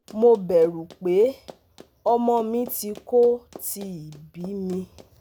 mo bẹ̀rù pé ọmọ mi tí kò tíì bí mi